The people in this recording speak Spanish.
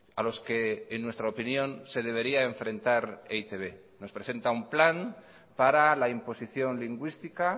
a los que en nuestra opinión se debería enfrentar e i te be nos presenta un plan para la imposición lingüística